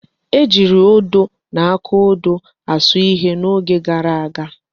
Ejiiri odo na akaodo asụ ihe n'oge gara aga.